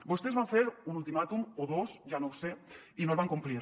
vostès van fer un ultimàtum o dos ja no ho sé i no el van complir